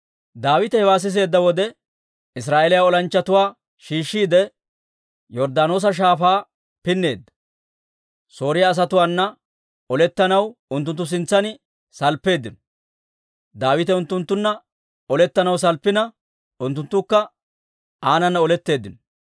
Daawite hewaa siseedda wode, Israa'eeliyaa olanchchatuwaa shiishshiide, Yorddaanoosa Shaafaa pinneedda; Sooriyaa asatuwaana olettanaw unttunttu sintsan salppeeddino. Daawite unttunttunna olettanaw salppina, unttunttukka aanana oletteeddino.